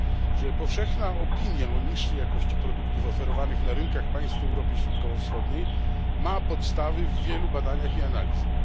że powszechna opinia o niższej jakości produktów oferowanych na rynkach państw Europy Środkowo Wschodniej ma podstawy w wielu badaniach i analizach.